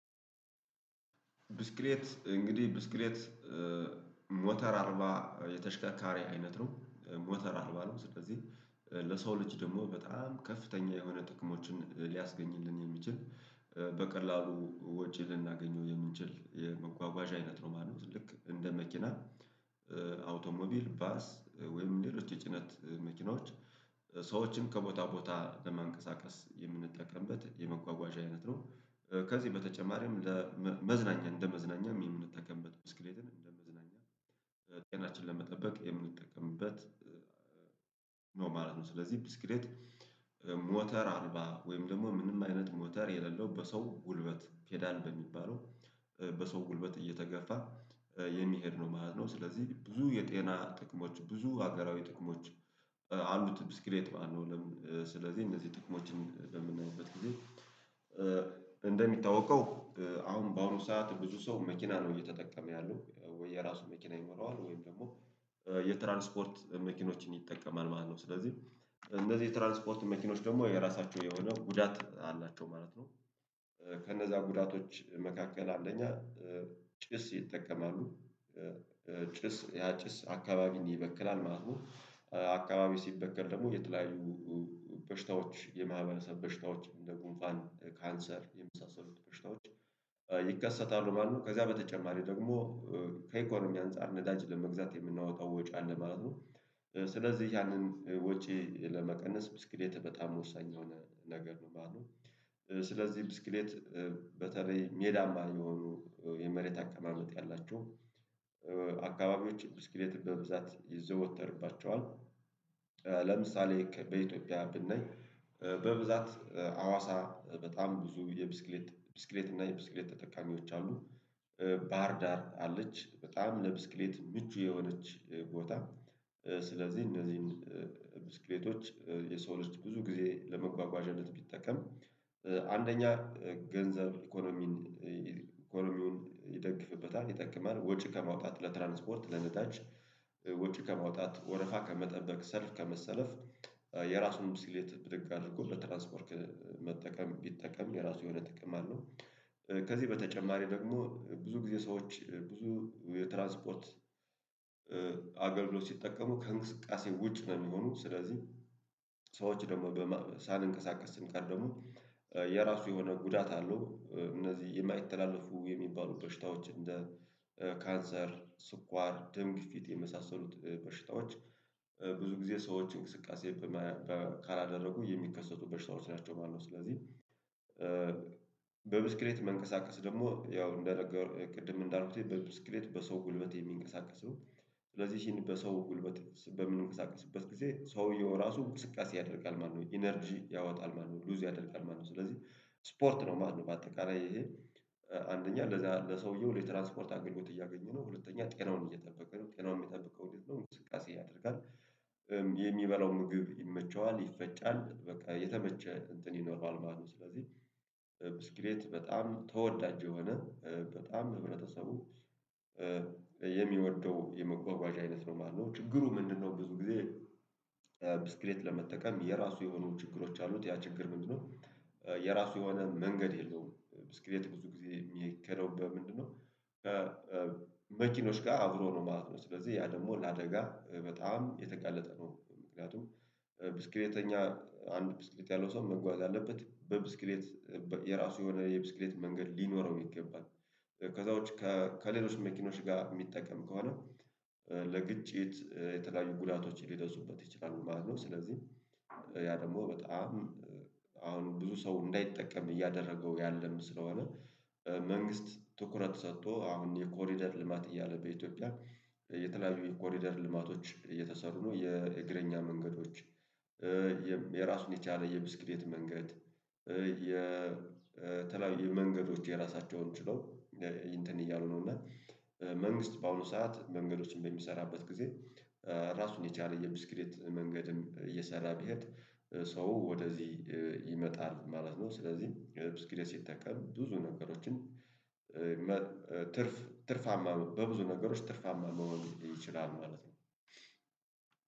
ብስክሌት እንግዲህ ብስክሌት ሞተር አልባ ተሽካካሪ አይነት ነው ሞተር አልባ ነው። ስለዚህ ለሰው ልጅ ደግሞ በጣም ከፍተኛ የሆነ ጥቅሞችን ሊያስገኝልን የሚችል በቀላሉ ወጪ ልናገኘው የምንችል የመጓጓዣ አይነት ነው ማለት ነው። ልክ እንደ መኪና አውቶሞቢል ባስ ወይም ሌሎች የጭነት መኪኖች ሰዎችን ከቦታ ቦታ ለመንቀሳቀስ የምንጠቀምበት የመጓጓዣ አይነት ነው። ከዚህ በተጨማሪም ለመዝናኛ እንደ መዝናኛ የምንጠቀምበት ብስክሌትን እንደመዝናኛ ጤናችንን ለመጠበቅ የምንጠቀምበት ነው ማለት ነው። ስለዚህ ብስክሌት ሞተር አልባ ወይም ደግሞ ምንም አይነት ሞተር የሌለው በሰው ጉልበት ፔዳል በሚባለው በሰው ጉልበት እየተገፋ የሚሄድ ነው ማለት ነው። ስለዚህ ብዙ የጤና ጥቅሞች ብዙ ሀገራዊ ጥቅሞች አሉት። ብስክሌት ባለው ለምን ስለዚህ እነዚህ ጥቅሞችን በምናይበት ጊዜ? እንደሚታወቀው አሁን በአሁኑ ሰዓት ብዙ ሰው መኪና ነው እየተጠቀመ ያለው ወይ የራሱ መኪና ይኖራዋል ወይም ደግሞ የትራንስፖርት መኪኖችን ይጠቀማል ማለት ነው። ስለዚህ እነዚህ ትራንስፖርት መኪኖች ደግሞ የራሳችሁ የሆነ ጉዳት አላቸው ማለት ነው። ከነዛ ጉዳቶች መካከል አንደኛ ጭስ ይጠቀማሉ። ጭስ ያ ጭስ አካባቢን ይበክላል ማለት ነው። አካባቢ ሲበከል ደግሞ የተለያዩ የማህበረሰብ በሽታዎች እንደ ጉንፋን ካንሰር የመሳሰሉት በሽታዎች ይከሰታሉ ማለት ነው። ከዛ በተጨማሪ ደግሞ ከኢኮኖሚ አንፃር ነዳጅ ለመግዛት የምናወጣው ወጪ አለ ማለት ነው። ስለዚህ ያንን ወጪ ለመቀነስ ብስክሌት በጣም ወሳኝ የሆነ ነገር ነው። ባሉ ስለዚህ ብስክሌት በተለይ ሜዳማ የሆኑ የመሬት አከማመጥ ያላቸው አካባቢዎች በብዛት ይዘወተርባቸዋል። ለምሳሌ በኢትዮጵያ ብናይ በብዛት ሀዋሳ በጣም ብዙ የብስክሌት ብስክሌት እና የብስክሌት ተጠቃሚዎች አሉ። ባህር ዳር አለች በጣም ለብስክሌት ምቹ የሆነች ቦታ። ስለዚህ እነዚህን ብስክሌቶች የሰው ልጅ ብዙ ጊዜ ለመጓጓዣነት ቢጠቀም አንደኛ ገንዘብ ኢኮኖሚን ኢኮኖሚውን ይጠቅምበታል ይጠቅማል ወጪ ከማውጣት ለትራንስፖርት ለነዳጅ ወጪ ከማውጣት ወረፋ ከመጠበቅ ሰልፍ ከመሰለፍ የራሱን ብስክሌት ብድግ አድርጎ ለትራንስፖርት መጠቀም ቢጠቀም የራሱ የሆነ ጥቅም አለው። ከዚህ በተጨማሪ ደግሞ ብዙ ጊዜ ሰዎች ብዙ የትራንስፖርት አገልግሎት ሲጠቀሙ ከእንቅስቃሴ ውጭ ነው የሚሆኑት። ስለዚህ ሰዎች ደግሞ ሳልንቀሳቀስ ስንቀር ደግሞ የራሱ የሆነ ጉዳት አለው። እነዚህ የማይተላለፉ የሚባሉ በሽታዎች እንደ ካንሰር ስኳር ድምግፊት የመሳሰሉት በሽታዎች ብዙ ጊዜ ሰዎች እንቅስቃሴ ካላደረጉ የሚከሰቱ በሽታዎች ናቸው ማለት ነው። ስለዚህ በብስክሌት መንቀሳቀስ ደግሞ ያው እንደነገርኩት ቅድም እንዳልኩት ብስክሌት በሰው ጉልበት የሚንቀሳቀሰው ስለዚህ በሰው ጉልበት በምንንቀሳቀስበት ጊዜ ሰውየው ራሱ እውቅስቃሴ ያደርጋል ማለት ነው። ኢነርጂ ያወጣል ማለት ነው ሉዝ ያደርጋል ማለት ነው ስለዚህ ስፖርት ነው ማለት ነው። በአጠቃላይ ይሄ አንደኛ ለሰውየው ለትራንስፖርት አገልግሎት እያገኘ ነው ሁለተኛ ጤናውን እየጠበቀ ነው። ጤናውን የሚጠብቀው እንዴት ነው? እንቅስቃሴ ያደርጋል የሚበላው ምግብ ይመቸዋል ይፈጫል በቃ የተመቸ እንትን ይኖረዋል ማለት ነው። ስለዚህ ብስክሌት በጣም ተወዳጅ የሆነ በጣም ህብረተሰቡ የሚወደድ የመጓጓዣ አይነት ነው የማለው ችግሩ ምንድነው? ብዙ ጊዜ ብስክሌት ለመጠቀም የራሱ የሆኑ ችግሮች አሉት። ያ ችግር ምንድነው? የራሱ የሆነ መንገድ የለውም። ብስክሌት ብዙ ጊዜ የሚከለው በምንድነው? መኪኖች ጋር አብሮ ነው ማለት ነው። ስለዚህ ያ ደግሞ ለአደጋ በጣም የተጋለጠ ነው። ምክንያቱም ብስክሌተኛ አንድ ብስክሌት ያለው ሰው መጓዝ አለበት በብስክሌት የራሱ የሆነ የብስክሌት መንገድ ሊኖረው ይገባል። ከዛ ውጭ ከሌሎች መኪኖች ጋር የሚጠቀም ከሆነ ለግጭት ለተለያዩ ጉዳቶችን ሊከሰቱበት ይችላሉ ማለት ነው። ስለዚህ ያ ደግሞ በጣም አሁን ብዙ ሰው እንዳይጠቀም እያደረገው ያለም ስለሆነ መንግስት ትኩረት ሰጥቶ አሁን የኮሪደር ልማት እያለ በኢትዮጵያ የተለያዩ የኮሪደር ልማቶች እየተሰሩ ነው። የእግረኛ መንገዶች የራሱን የቻለ የብስክሌት መንገድ። የተለያዩ መንገዶች የራሳቸውን ችለው እንትን እያሉ ነው። እና መንግስት በአሁኑ ሰዓት መንገዶችን በሚሰራበት ጊዜ ራሱን የቻለ የብስክሬት መንገድም እየሰራ ቢሄድ ሰው ወደዚህ ይመጣል ማለት ነው። ስለዚህ ብስክሌት ሲጠቀም ብዙ ነገሮችን ትርፍ ትርፍ አማሮ በብዙ ነገሮች ትርፍ አማሮ መወገድ ይችላል ማለት ነው።